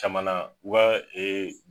Caman na u ka e